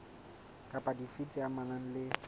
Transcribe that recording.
kapa dife tse amanang le